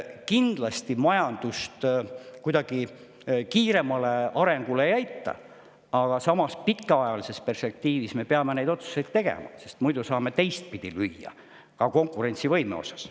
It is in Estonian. Kindlasti majandust kuidagi kiiremale arengule ei aita, aga samas pikaajalises perspektiivis me peame neid otsuseid tegema, sest muidu saame teistpidi lüüa, ka konkurentsivõimes.